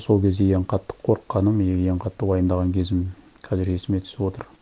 сол кезде ең қатты қорыққаным и ең қатты уайымдаған кезім қазір есіме түсіп отыр